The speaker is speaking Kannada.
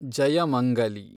ಜಯಮಂಗಲಿ